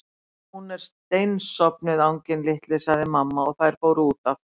Hún er steinsofnuð, anginn litli sagði mamma og þær fóru út aftur.